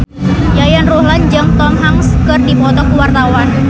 Yayan Ruhlan jeung Tom Hanks keur dipoto ku wartawan